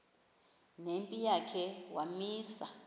nempi yakhe wamisa